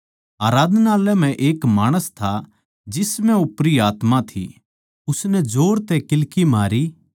आराधनालय म्ह एक माणस था जिस म्ह ओपरी आत्मा थी उसनै जोर तै किल्की मारी